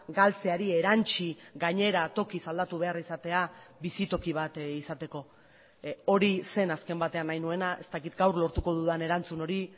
galtzeari erantsi gainera tokiz aldatu behar izatea bizitoki bat izateko hori zen azken batean nahi nuena ez dakit gaur lortuko dudan erantzun hori